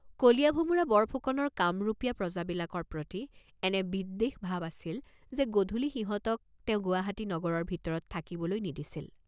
কলীয়া ভোমোৰা বৰফুকনৰ কামৰূপীয়া প্ৰজাবিলাকৰ প্ৰতি এনে বিদ্বেষ ভাব আছিল যে গধুলি সিহঁতক তেওঁ গুৱাহাটী নগৰৰ ভিতৰত থাকিবলৈ নিদিছিল।